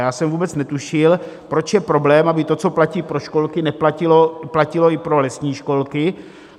Já jsem vůbec netušil, proč je problém, aby to, co platí pro školky, platilo i pro lesní školky.